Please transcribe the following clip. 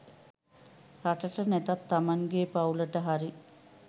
රටට නැතත් තමන්ගේ පවුලට හරි